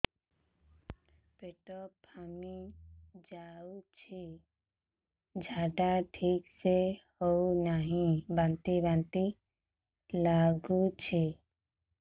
ପେଟ ଫାମ୍ପି ଯାଉଛି ଝାଡା ଠିକ ସେ ହଉନାହିଁ ବାନ୍ତି ବାନ୍ତି ଲଗୁଛି